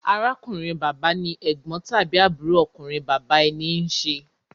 Arákùnrin-bàbá ni ẹ̀gbọ́n tàbí àbúrò ọkùnrin bàbá ẹni ń ṣe.